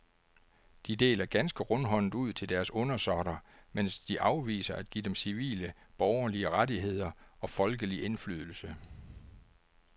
De deler ganske rundhåndet ud til deres undersåtter, mens de afviser at give dem civile borgerlige rettigheder og folkelig indflydelse.